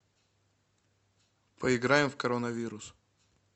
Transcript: поиграем в коронавирус